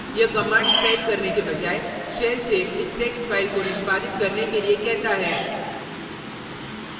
* यह commands type करने के बजाय shell से इस text file को निष्पादित करने के लिए कहता है